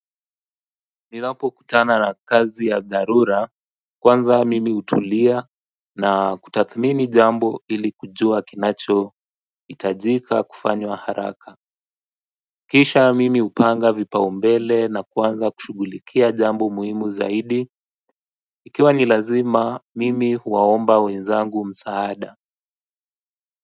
Ninapo kutana na kazi ya dharura kwanza mimi hutulia na kutathmini jambo ili kujua kinachohitajika kufanywa haraka kisha mimi hupanga vipaumbele na kuanza kushughulikia jambo muhimu zaidi ikiwa ni lazima mimi huwaomba wenzangu msaada.